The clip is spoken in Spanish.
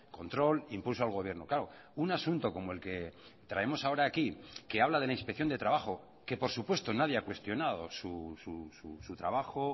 control impulso al gobierno claro un asunto como el que traemos ahora aquí que habla de la inspección de trabajo que por supuesto nadie ha cuestionado su trabajo